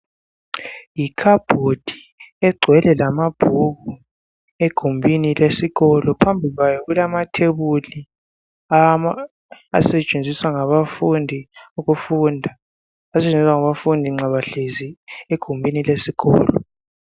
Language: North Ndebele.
Yikhabhodi egcwele lamabhuku egumbini lesikolo. Phambi kwayo kulamathebuli awama asetshenziswa ngabafundi ukufunda . Asetshenziswa ngabafundi nxa behlezi egumbini lesikolo.